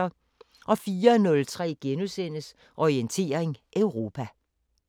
04:03: Orientering Europa *